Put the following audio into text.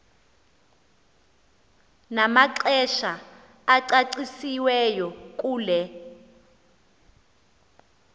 namaxesha acacisiweyo kule